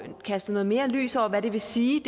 kastet mere lys over hvad det vil sige